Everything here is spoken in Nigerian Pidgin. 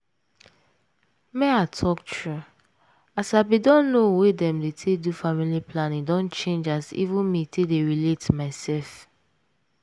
make i talk true as i bin don know way dem dey take do family planning don change as even me take dey relate mysef.